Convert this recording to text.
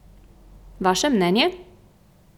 Vaše mnenje?